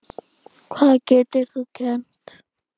Hvað getur þú kennt?